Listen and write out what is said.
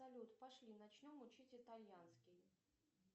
салют пошли начнем учить итальянский